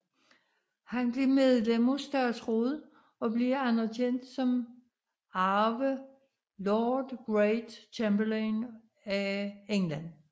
Han blev medlem af statsrådet og blev anerkendt som arve Lord Great Chamberlain af England